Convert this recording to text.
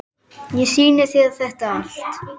Ég sýndi þér þetta allt.